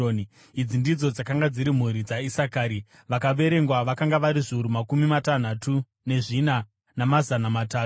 Idzi ndidzo dzakanga dziri mhuri dzaIsakari; vakaverengwa vakanga vari zviuru makumi matanhatu nezvina, namazana matatu.